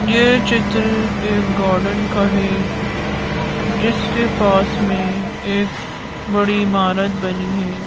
यह चित्र एक गार्डन का हैं जिसके पास में एक बड़ी इमारत बनी हैं।